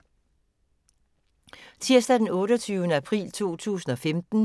Tirsdag d. 28. april 2015